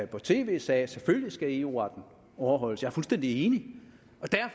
på tv sagde at selvfølgelig skal eu retten overholdes jeg er fuldstændig enig